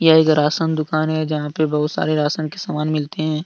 यह एक राशन दुकान है जहां पे बहुत सारे राशन के समान मिलते हैं।